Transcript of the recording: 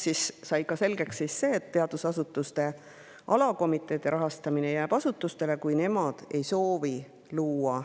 Sai selgeks ka see, et teadusasutuste alakomiteede rahastamine jääb asutuste.